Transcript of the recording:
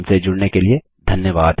हमसे जुड़ने के लिए धन्यवाद